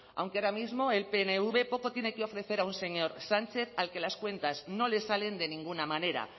aunque ahora mismo el pnv poco tiene que ofrecer a un señor sánchez al que las cuentas no le salen de ninguna manera